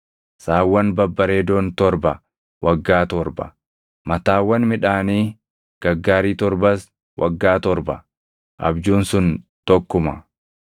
Saawwan babbareedoon torba waggaa torba; mataawwan midhaanii gaggaarii torbas waggaa torba; abjuun sun tokkuma.